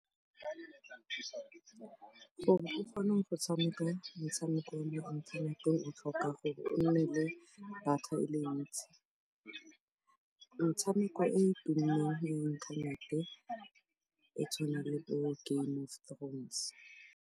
For o kgone go tshameka metshameko mo inthaneteng o tlhoka gore o nne le data e le ntsi. Metshameko e e tumileng ya inthanete e tshwana le bo Game Of Thrones.